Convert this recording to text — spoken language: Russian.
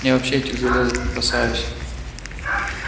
я вообще этих железок не касаюсь